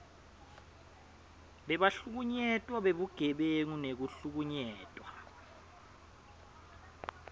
bebahlukunyetwa bebugebengu nekuhlukunyetwa